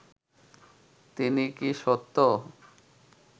তিনি কি সত্য